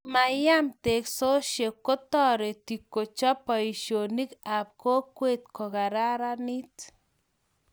Komayem, teksoshiek kotoriti kochob boishonik ab kokwet kokararanit